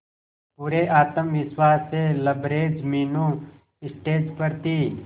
पूरे आत्मविश्वास से लबरेज मीनू स्टेज पर थी